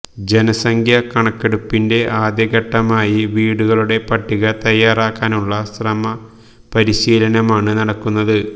ജനസംഖ്യാ കണക്കെടുപ്പിന്റെ ആദ്യ ഘട്ടമായി വീടുകളുടെ പട്ടിക തയാറാക്കാനുള്ള പരിശീലനമാണ് നൽകുന്നത്